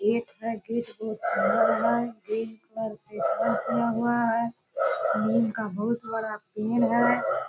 एक पैकेट एक पैकेट है। नीम का बहुत बड़ा पेड़ है।